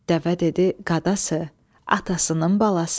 Dəvə dedi: qadası, atasının balası.